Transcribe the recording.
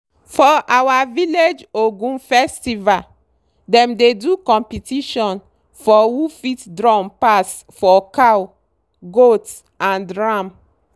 for our village ogun festival dem dey do competition for who fit drum pass for cow goat and ram.